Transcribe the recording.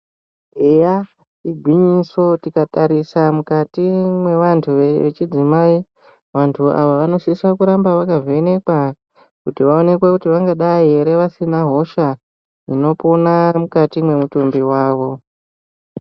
Eya igwinyiso tikatarisa mukati mwevantu vechidzimai vantu ava vanosisa kuramba vakavhenekwa kuti vaonekwe kuti vangadai ere vasina hosha inopona iri mukati mwemutumbi wavo.